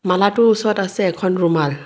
মালাটোৰ ওচৰত আছে এখন ৰুমাল।